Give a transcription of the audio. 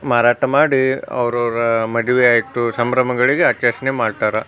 ಮಾರಾಟ ಮಾಡಿ ಅವರವರ ಮದ್ವೆ ಆಯಿತು ಸಂಭ್ರಮಗಳಿಗೆ ಆಚರಣೆ ಮಾಡ್ತಾರಾ.